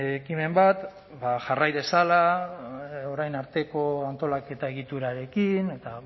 ekimen bat ba jarrai dezala orain arteko antolaketa egiturarekin eta